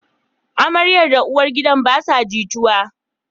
Amaryar da uwar gidan basa jituwa